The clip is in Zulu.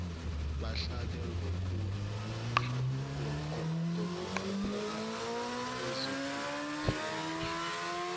bahlale ngokuqaphela kwezokuphepha